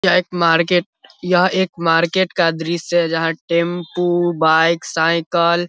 यह एक मार्केट यह एक मार्केट का दृश्य है जहां टेम्पू बाइक साइकल --